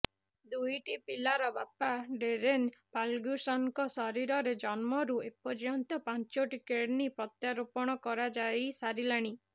ଦୁଇଟି ପିଲାର ବାପା ଡେରେନ ଫାର୍ଗ୍ୟୁସନଙ୍କ ଶରୀରରେ ଜନ୍ମରୁ ଏପର୍ଯ୍ୟନ୍ତ ପାଞ୍ଚୋଟି କିଡନୀ ପ୍ରତ୍ୟାରୋପଣ କରାଯାଇ ସାରିଲାଣି